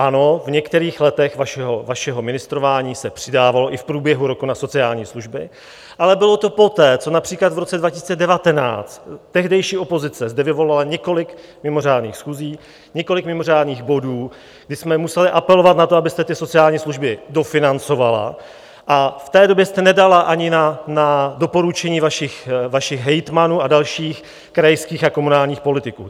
Ano, v některých letech vašeho ministrování se přidávalo i v průběhu roku na sociální služby, ale bylo to poté, co například v roce 2019 tehdejší opozice zde vyvolala několik mimořádných schůzí, několik mimořádných bodů, kdy jsme museli apelovat na to, abyste ty sociální služby dofinancovala, a v té době jste nedala ani na doporučení vašich hejtmanů a dalších krajských a komunálních politiků.